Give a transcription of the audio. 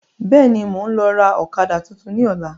Bẹ́ẹ̀ni, mo ń lọ ra ọ̀kadà tuntun ni ọ̀la.